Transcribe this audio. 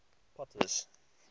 potter's